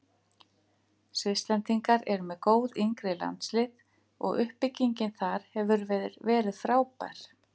Svisslendingar eru með góð yngri landslið og uppbyggingin þar hefur verið frábær.